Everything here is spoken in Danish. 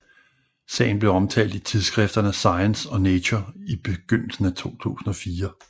Sagen blev omtalt i tidsskrifterne Science og Nature i begyndelsen af 2004